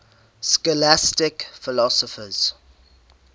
scholastic philosophers